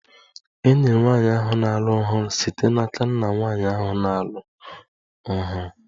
E nyere nwanyị ahụ na-alụ ọhụrụ site n'aka nna nwanyị ahụ na-alụ ọhụrụ